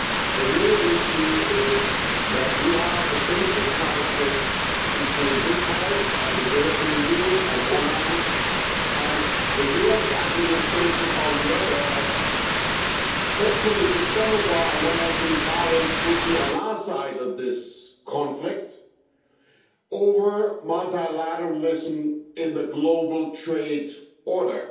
The real issue is that we have a basic conflict between this House and the European Union on one hand and the US administration on the other and, hopefully, some of our American colleagues would be on our side of this conflict over multilateralism in the global trade order.